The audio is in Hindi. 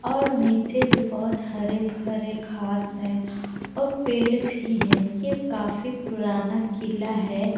और नीचे भी बहुत हरे-भरे घास है और पेड़ भी है ये काफी पुराना किला है।